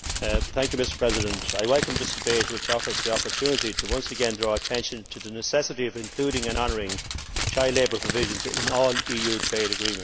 Mr President, I welcome this debate, which offers the opportunity to once again draw attention to the necessity of including and honouring child labour provisions in all EU trade agreements.